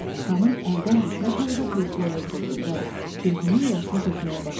Xanım əldən düşmüş halda kresloya oturdu və gözünün yaşını tökməyə başladı.